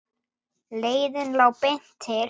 Leiðin lá beint til